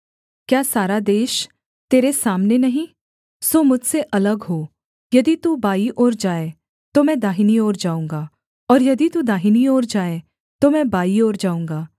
क्या सारा देश तेरे सामने नहीं सो मुझसे अलग हो यदि तू बाईं ओर जाए तो मैं दाहिनी ओर जाऊँगा और यदि तू दाहिनी ओर जाए तो मैं बाईं ओर जाऊँगा